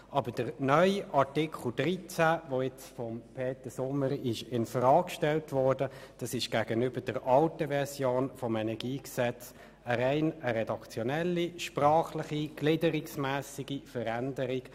Aber der neue Artikel 13, wie er jetzt von Peter Sommer infrage gestellt worden ist, ist gegenüber der alten Version des KEnG eine rein sprachlichredaktionelle und auf die Gliederung bezogene Veränderung;